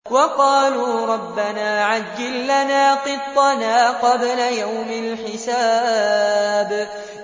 وَقَالُوا رَبَّنَا عَجِّل لَّنَا قِطَّنَا قَبْلَ يَوْمِ الْحِسَابِ